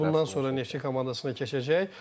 Bəli, bundan sonra Neftçi komandasına keçəcək.